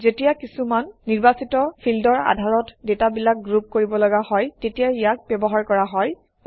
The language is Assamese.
যেতিয়া কিছুমান নিৰ্বাচিত ফিল্ডৰ আধাৰত ডাটাবিলাক গ্ৰুপ কৰিব লগা হয় তেতিয়া ইয়াক ব্যৱহাৰ কৰা হয়